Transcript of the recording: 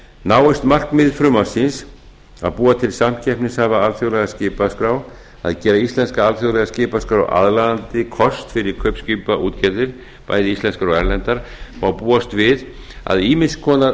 náist markmið frumvarpsins að búa til samkeppnishæfa alþjóðlega skipaskrá að gera íslenska alþjóðlega skipaskrá aðlaðandi kost fyrir kaupskipaútgerðir bæði íslenskar og erlendar má búast við að ýmiss konar